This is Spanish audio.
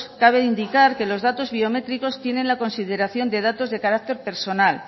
cabe indicar que los datos biométricos tienen la consideración de datos de carácter personal